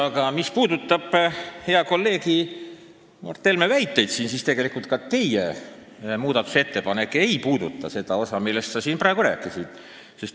Aga mis puudutab hea kolleegi Mart Helme väiteid, siis tegelikult ei käsitle ka teie muudatusettepanek seda osa, millest sa siin praegu rääkisid.